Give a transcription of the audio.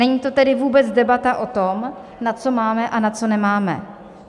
Není to tedy vůbec debata o tom, na co máme a na co nemáme.